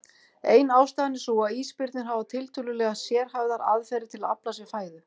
Ein ástæðan er sú að ísbirnir hafa tiltölulega sérhæfðar aðferðir til að afla sér fæðu.